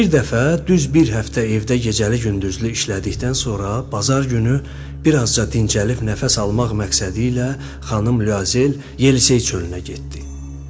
Bir dəfə düz bir həftə evdə gecəli-gündüzlü işlədikdən sonra bazar günü bir azca dincəlib nəfəs almaq məqsədilə xanım Luazel Yelisey çölünə getdi.